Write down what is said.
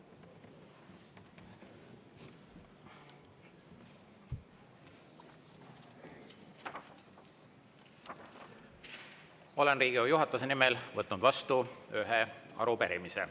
Olen Riigikogu juhatuse nimel võtnud vastu ühe arupärimise.